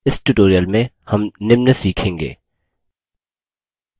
इस tutorial में हम निम्न सीखेंगे